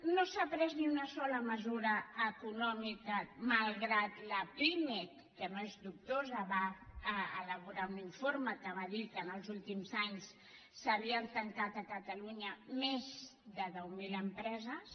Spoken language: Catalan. no s’ha pres ni una sola mesura econòmica malgrat que la pimec que no és dubtosa va elaborar un informe en què va dir que en els últims anys s’havien tancat a catalunya més de deu mil empreses